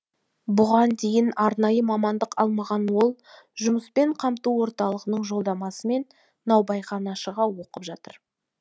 бұған дейін арнайы мамандық алмаған ол жұмыспен қамту орталығының жолдамасымен наубайханашыға оқып жатыр